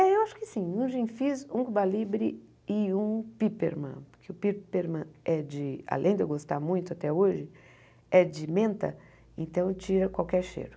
É, eu acho que sim, um Gin Fizz, um Cuba Libre e um Piperman, porque o Piperman é de, além de eu gostar muito até hoje, é de menta, então tira qualquer cheiro.